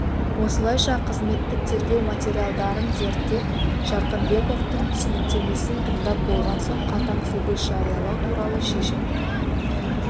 осылайша қызметтік тергеу материалдарын зерттеп жарқынбековтың түсініктемесін тыңдап болған соң қатаң сөгіс жариялау туралы шешім